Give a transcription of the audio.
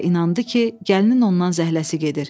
Və inandı ki, gəlinin ondan zəhləsi gedir.